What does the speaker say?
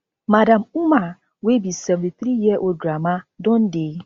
madam umar wey be seventy-three year old grandma don dey